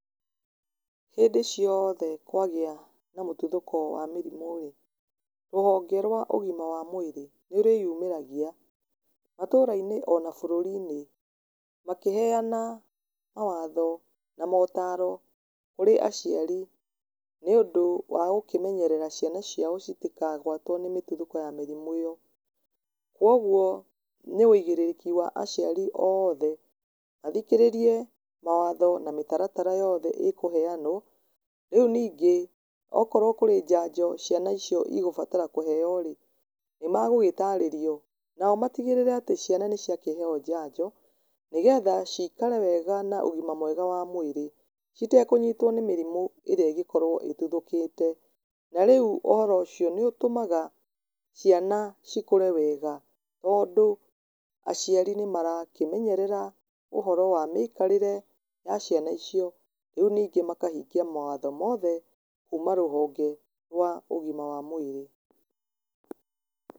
Hĩndĩ cioothe kwagĩa na mĩtuthũko ya mĩrimũ rĩ, rũhonge rwa ũgima wa mwĩrĩ, nĩ rwĩyumĩragia, matũra-inĩ ona bũrũri-inĩ, makĩheyana mawatho na mataro, kũrĩ aciari, nĩ ũndũ wa gũkĩmenyerera ciana ciao citikagwatwo nĩ mĩtuthũko ya mĩrimũ ĩyo, kwoguo nĩ wĩigĩrĩrĩki wa aciari oothe, mathikĩrĩrie mawatho na mĩtaratara yothe ĩkũheyanwo, rĩu ningĩ okorwo kũrĩ njanjo ciana icio igũbatara kũheyo rĩ, nĩ megũgĩtarĩrio, nao matigĩrĩre ciana nĩ ciakĩheyo njanjo, nĩgetha cikare wega na ũgima mwega wa mwĩrĩ, citekũnyitwo nĩ mĩrimũ ĩrĩa ĩngĩkorwo ĩtuthũkĩte, na rĩu ũhoro ũcio nĩ ũtũmaga ciana ikũre wega, tondũ, aciari nĩ marakĩmenyerera ũhoro wa mĩikarĩre ya ciana icio, rĩu ningĩ makahingia mawatho mothe kuuma rũhonge rwa ũgima wa mwĩrĩ.